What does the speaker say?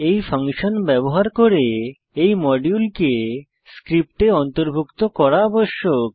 এই ফাংশন ব্যবহার করতে এই মডিউলকে স্ক্রিপ্টে অন্তর্ভুক্ত করা আবশ্যক